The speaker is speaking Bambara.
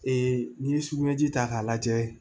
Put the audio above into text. n'i ye sugunɛji ta k'a lajɛ